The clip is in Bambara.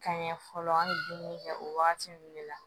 Ka ɲɛ fɔlɔ an ye dumuni kɛ o wagati ninnu de la